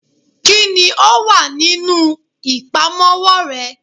kini o wa ninu ipamowo re?